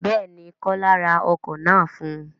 Béèni, kola ra ọkọ̀ náà fún un